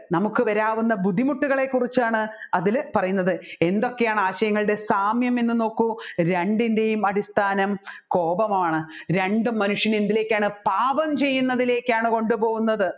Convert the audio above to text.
നമ്മുക്ക് വരാവുന്ന ബുദ്ധിമുട്ടുകളെ കുറിച്ചാണ് അതിൽ പറയുന്നത് എന്തൊക്കെയാണ് ആശയങ്ങളുടെ സാമ്യം എന്ന് നോക്കു രണ്ടിൻെറയും അടിസ്ഥാനം കോപമാണ് രണ്ടും മനുഷ്യനെ എന്തിലേക്കാണ് പാപം ചെയ്യുന്നതിലേക്കാണ് കൊണ്ടുപോകുന്നത്